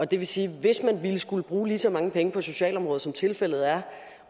det vil sige at hvis man skulle bruge lige så mange penge på socialområdet som tilfældet er